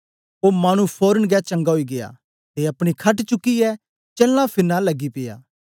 ओ मानु फोरन गै चंगा ओई गीया ते अपनी खट चुक्कियै चलना फिरना लगी पिया